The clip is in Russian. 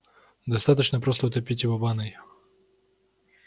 достаточно просто утопить его в ванной